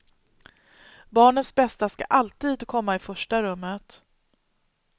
Barnets bästa ska alltid komma i första rummet.